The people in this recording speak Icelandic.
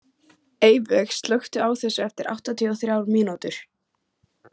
Eyveig, slökktu á þessu eftir áttatíu og þrjár mínútur.